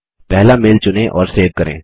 पहला मेल चुनें और सेव करें